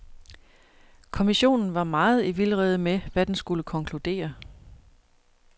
Kommissionen var meget i vildrede med, hvad den skulle konkludere.